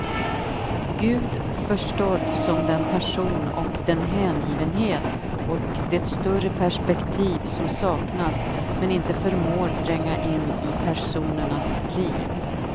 Gud förstådd som den passion och den hängivenhet och det större perspektiv som saknas men inte förmår tränga in i personernas liv.